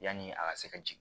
Yani a ka se ka jigin